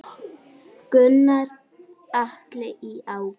Gunnar Atli: Í ágúst?